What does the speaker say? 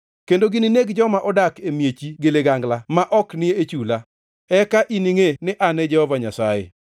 kendo gininegi joma odak e miechi gi ligangla ma ok ni e chula. Eka giningʼe ni An e Jehova Nyasaye.